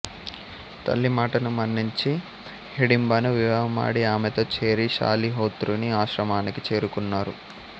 తల్లి మాటను మన్నించి హిడింబను వివాహమాడి ఆమెతో చేరి శాలిహోత్రుని ఆశ్రమానికి చేరుకున్నారు